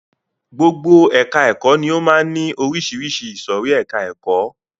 Gbogbo ẹka ẹ̀kọ́ ni ó máa ń ní oríṣiríṣi ìsòrí ẹka ẹ̀kọ́.